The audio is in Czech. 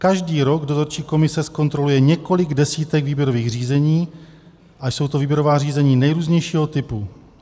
Každý rok dozorčí komise zkontroluje několik desítek výběrových řízení, a jsou to výběrová řízení nejrůznějšího typu.